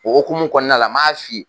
O hokumu kɔnɔna la m'a f'i ye.